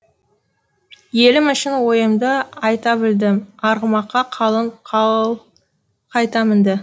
елім үшін ойымды айта білдім арғымаққа қалың қал қайта мінді